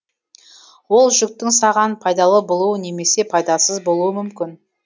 ол жүктің саған пайдалы болуы немесе пайдасыз болуы мүмкін